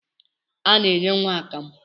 A na-enye nwa akamụ